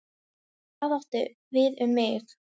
Og það átti við um mig.